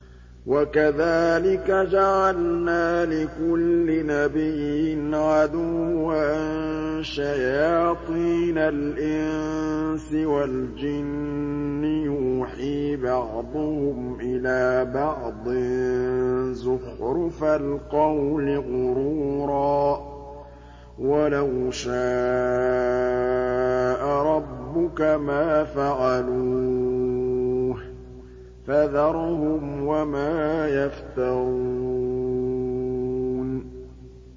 وَكَذَٰلِكَ جَعَلْنَا لِكُلِّ نَبِيٍّ عَدُوًّا شَيَاطِينَ الْإِنسِ وَالْجِنِّ يُوحِي بَعْضُهُمْ إِلَىٰ بَعْضٍ زُخْرُفَ الْقَوْلِ غُرُورًا ۚ وَلَوْ شَاءَ رَبُّكَ مَا فَعَلُوهُ ۖ فَذَرْهُمْ وَمَا يَفْتَرُونَ